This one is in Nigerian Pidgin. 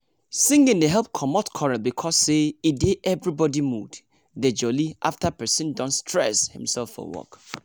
singing dey help comot quarrel because say e dey everybody mood dey jolly after persin don stress himsef for work.